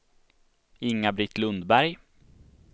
Inga-Britt Lundberg